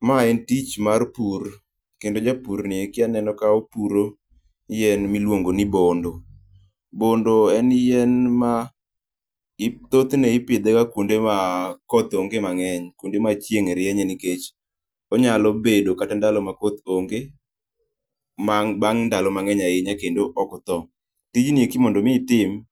Mae en tich mar pur, kendo japurni eki aneno kaopuro yien miluongo ni bondo. Bondo en yien ma ip thothne idhega kuonde ma koth onge mang'eny, kuonde ma chieng rienye nikech onyalo bedo kata ndalo ma koth onge bang' ndalo mang'eny ahinya kendo ok otho. Tijni eki mondo mi itim,